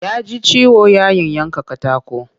Ya ji ciwo yayin yanka katako